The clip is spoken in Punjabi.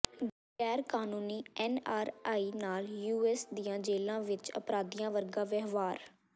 ਗੈਰਕਾਨੂੰਨੀ ਐਨ ਆਰ ਆਈਜ਼ ਨਾਲ ਯੂ ਐਸ ਦੀਆਂ ਜੇਲ੍ਹਾਂ ਵਿਚ ਅਪਰਾਧੀਆਂ ਵਰਗਾ ਵਿਵਹਾਰ